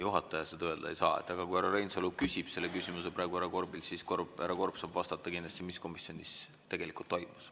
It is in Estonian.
Juhataja seda öelda ei saa, aga kui härra Reinsalu küsib selle küsimuse praegu härra Korbilt, siis härra Korb saab kindlasti vastata, mis komisjonis tegelikult toimus.